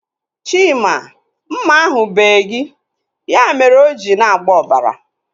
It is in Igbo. Chima, mma ahu bee gị. Ya mere o ji na-agba ọbara